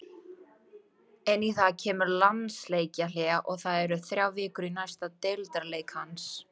Inn í það kemur landsleikjahlé og það eru þrjár vikur í næsta deildarleik hans.